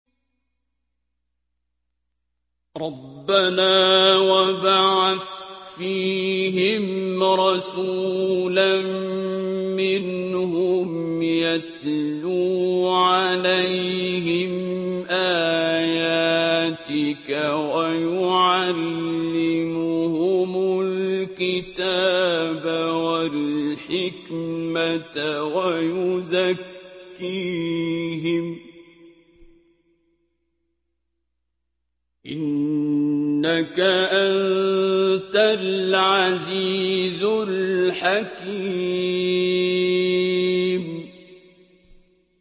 رَبَّنَا وَابْعَثْ فِيهِمْ رَسُولًا مِّنْهُمْ يَتْلُو عَلَيْهِمْ آيَاتِكَ وَيُعَلِّمُهُمُ الْكِتَابَ وَالْحِكْمَةَ وَيُزَكِّيهِمْ ۚ إِنَّكَ أَنتَ الْعَزِيزُ الْحَكِيمُ